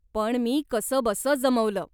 पण मी कसंबसं जमवलं.